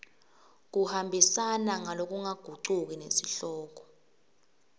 kuhambisana ngalokungagucuki nesihloko